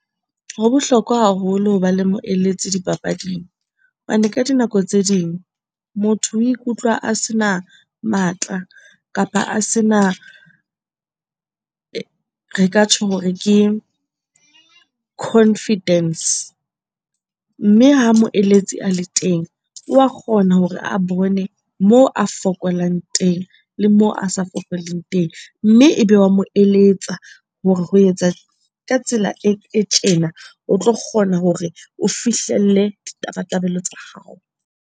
Ho bohlokwa haholo ho ba le moeletsi dipapading, hobane ka dinako tse ding motho o ikutlwa a se na matla kapa a se na re ka tjho hore ke confidence. Mme ha moeletsi a le teng, wa kgona hore a bone moo a fokolang teng le mo a sa fokoleg teng, mme e be wa mo eletsa hore ho etsa ka tsela e tjena o tlo kgona hore o fihlelle ditabatabelo tsa hao.